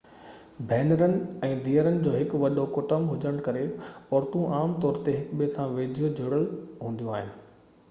ڀينرن ۽ ڌيئرن جو هڪ وڏو ڪٽنب هجڻ جي ڪري عورتون عام طور تي هڪٻئي سان ويجهو جڙيل هونديون آهن